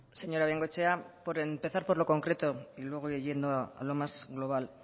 señora bengoechea por empezar por lo concreto y luego voy yendo a lo más global